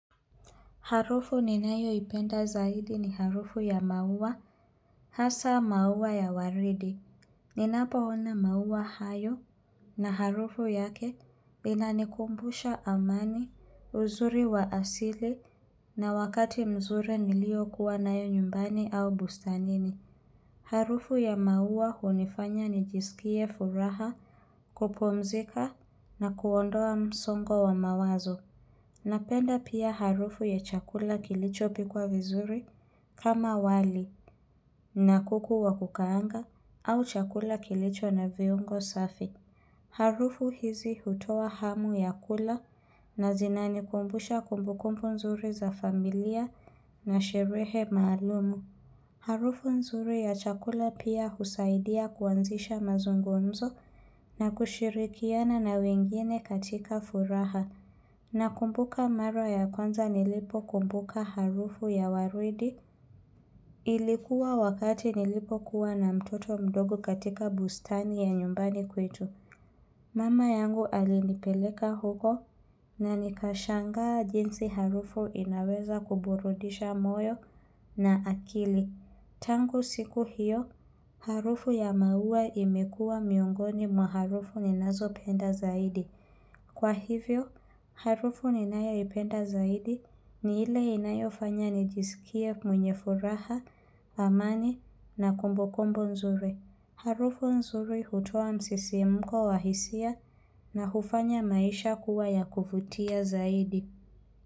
Harufu ni nayo ipenda zaidi ni harufu ya maua, hasa maua ya waridi. Ninapo ona maua hayo na harufu yake vinanikumbusha amani, uzuri wa asili na wakati mzure nilio kuwa nayo nyumbani au busta nini. Harufu ya maua hunifanya nijisikie furaha kupomzika na kuondoa msongo wa mawazo. Napenda pia harufu ya chakula kilicho pikwa vizuri kama wali na kukuwa kukaanga au chakula kilicho na viungo safi. Harufu hizi hutowa hamu ya kula na zinani kumbusha kumbukumpu nzuri za familia na shirehe maalumu. Harufu nzuri ya chakula pia husaidia kuanzisha mazungonzo na kushirikiana na wengine katika furaha. Na kumbuka mara ya kwanza nilipo kumbuka harufu ya waridi ilikuwa wakati nilipo kuwa na mtoto mdogo katika bustani ya nyumbani kwetu. Mama yangu alinipeleka huko na nikashanga jinsi harufu inaweza kuburudisha moyo na akili. Tangu siku hiyo, harufu ya maua imekua miongoni mwa harufu ninazo penda zaidi. Kwa hivyo, harufu ninayo ipenda zaidi ni ile inayo fanya nijisikie mwenye furaha, amani na kumbukumbu nzuri. Harufu nzuri hutua msisi mko wahisia na hufanya maisha kuwa ya kuvutia zaidi.